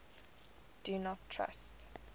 do not trust